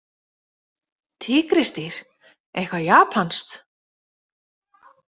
Tígrísdýr, eitthvað japanskt?